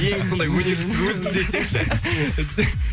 ең сондай өнерлі өзім десеңші